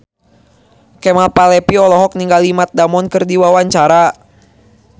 Kemal Palevi olohok ningali Matt Damon keur diwawancara